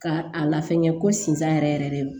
Ka a lafiɲɛ ko sinzan yɛrɛ yɛrɛ de ye